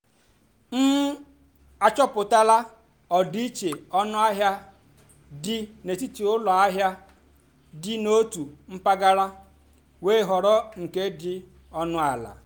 m àchọ́pụ́tálá ọ́dị́íché ónúàhịá dì n'étìtì ụ́lọ àhịá dì n'ótù mpàgàrà wéé họ́rọ́ nkè dì ónú àlà.